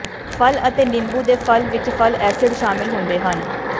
ਫਲ ਅਤੇ ਨਿੰਬੂ ਦੇ ਫਲ ਵਿਚ ਫਲ ਐਸਿਡ ਸ਼ਾਮਿਲ ਹੁੰਦੇ ਹਨ